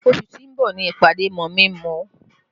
Oṣù tó ń bọ̀ ni ìpàdé mọ̀mí-n-mọ̀-ọ́